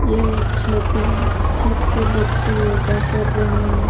यह एक छत है छत पर बच्चे योगा कर रहे हैं।